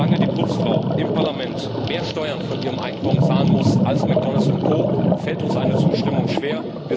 Solange die Putzfrau im Parlament mehr Steuern von ihrem Einkommen zahlen muss als McDonalds und Co, fällt uns eine Zustimmung schwer.